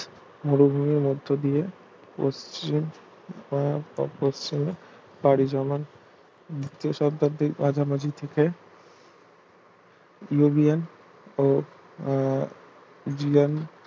মুরভুমির মধ্য দিয়ে পশ্চিম বা ~ পশ্চিমে পাড়ি জমান দ্বিতীয় শতাব্দীর মাঝামাঝি থেকে ইয়োবিয়ান ও আহ দিয়ান